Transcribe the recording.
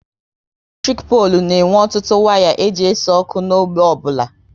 Eletrik polu na e nwe ọtụtụ waya e ji ese ọkụ n'ógbè ọbụla